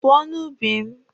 Pụọ n'ubi m!